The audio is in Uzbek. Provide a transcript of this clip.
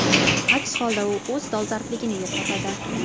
Aks holda u o‘z dolzarbligini yo‘qotadi.